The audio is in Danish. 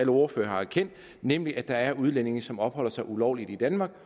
ordførerne har erkendt nemlig at der er udlændinge som opholder sig ulovligt i danmark